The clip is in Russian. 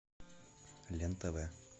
лен тв